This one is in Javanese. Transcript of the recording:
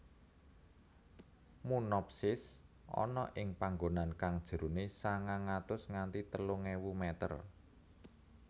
Munnopsis ana ing panggonan kang jerone sangang atus nganti telung ewu meter